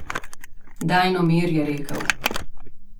Daj no mir, je rekel.